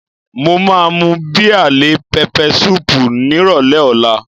Mo máa mú bíà lé pẹpẹ súùpù nírọ̀lẹ́ ọ̀la